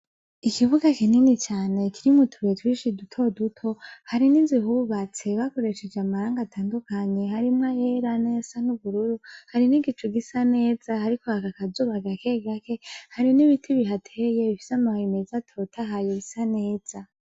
Ikibuga kinini cane kirimwo utubuye twinshi duto duto ,hari n'inzu ihubatse bakoresheje amarangi atandukanye harimwo ayera, n'ayasa n'ubururu, hari n'igicu gisa neza hariko haka akazuba gake gake, hari n'ibiti bihateye bifise amababi meza atotahaye bisa neza.